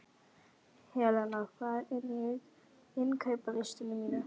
Helena, hvað er á innkaupalistanum mínum?